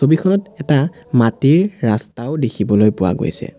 ছবিখনত এটা মাটিৰ ৰাস্তাও দেখিবলৈ পোৱা গৈছে।